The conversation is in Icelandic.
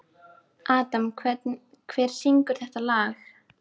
Adam, hver syngur þetta lag?